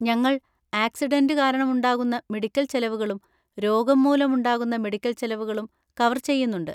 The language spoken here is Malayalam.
ഞങ്ങൾ ആക്സിഡന്‍റ് കാരണമുണ്ടാകുന്ന മെഡിക്കൽ ചെലവുകളും രോഗം മൂലം ഉണ്ടാകുന്ന മെഡിക്കൽ ചെലവുകളും കവർ ചെയ്യുന്നുണ്ട്.